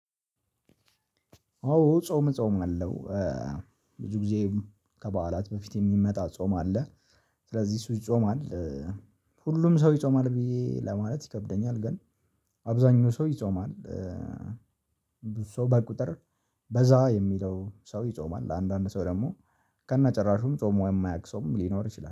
ኦ ጾም ጾም አለው ብዙ ጊዜ ከበዓላት በፊት የሚመጣ ጾም አለ። ስለዚህ ሰው ይጾማል ሁሉም ሰው ይጾማል ብዬ ለማለት ይከብደኛል ግን አብዛኛው ሰው ይጾማል። ብዙ ሰው በቁጥር በዛ የሚለው ሰው ይጾማል አንዳንድ ሰው ደግሞ ከነጭራሹም ፆሞ የማያውቅ ሰውም ሊኖር ይችላል